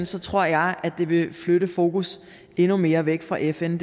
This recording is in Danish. så tror jeg at det vil flytte fokus endnu mere væk fra fn